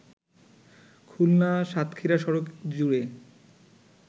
খুলনা-সাতক্ষীরা সড়ক জুড়ে